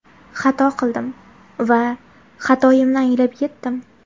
Xato qildim va xatoyimni anglab yetdim.